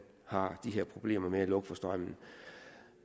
har de her problemer med at skulle lukke for strømmen